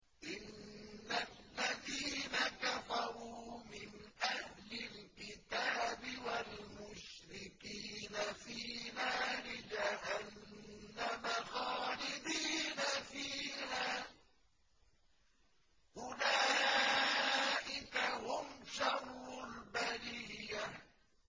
إِنَّ الَّذِينَ كَفَرُوا مِنْ أَهْلِ الْكِتَابِ وَالْمُشْرِكِينَ فِي نَارِ جَهَنَّمَ خَالِدِينَ فِيهَا ۚ أُولَٰئِكَ هُمْ شَرُّ الْبَرِيَّةِ